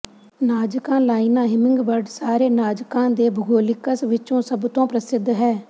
Nazca ਲਾਈਨਾਂ hummingbird ਸਾਰੇ ਨਾਜ਼ਕਾਂ ਦੇ ਭੂਗੋਲਿਕਸ ਵਿੱਚੋਂ ਸਭ ਤੋਂ ਪ੍ਰਸਿੱਧ ਹੈ